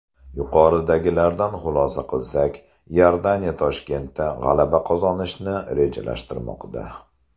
Yuqoridagilardan xulosa qilsak, Iordaniya Toshkentda g‘alaba qozonishni rejalashtirmoqda.